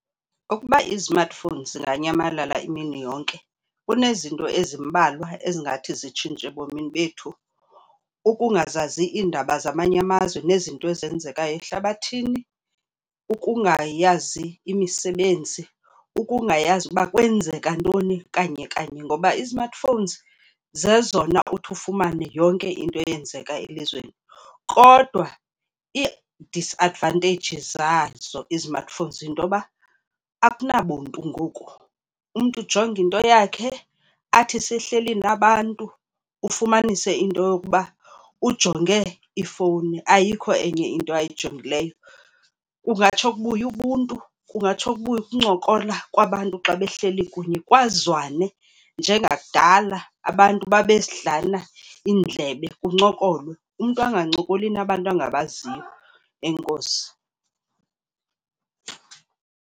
Ukuba izmartphones zinganyamalala imini yonke kunezinto ezimbalwa ezingathi zitshintshe ebomini bethu. Ukungazazi iindaba zamanye amazwe nezinto ezenzekayo ehlabathini, ukungayazi imisebenzi, ukungayazi uba kwenzeka ntoni kanye kanye, ngoba ii-smartphones zezona uthi ufumane yonke into eyenzeka elizweni. Kodwa ii-disadvantages zazo izmartphones yinto yoba akunabuntu ngoku. Umntu ujonga into yakhe, athi sehleli nabantu ufumanise into yokuba ujonge ifowuni, ayikho enye into ayijongileyo. Kungatsho kubuye ubuntu, kungatsho kubuye ukuncokola kwabantu xa behleli kunye, kwazwane njengakudala. Abantu babedlana iindlebe, kuncokolwe. Umntu angancokoli nabantu angabaziyo. Enkosi.